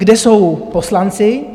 Kde jsou poslanci?